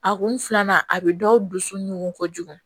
A kun filanan a bɛ dɔw dusu ɲɔgɔn ko jugu